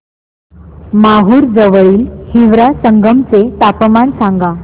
माहूर जवळील हिवरा संगम चे तापमान सांगा